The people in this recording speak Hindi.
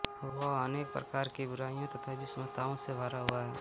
वह अनेक प्रकार की बुराइयों तथा विषमताओं से भरा हुआ है